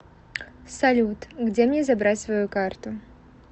салют где мне забрать свою карту